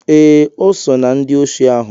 Eh, o so na ndị osi ahụ.